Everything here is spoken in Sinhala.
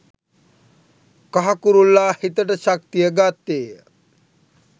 කහ කුරුල්ලා හිතට ශක්තිය ගත්තේය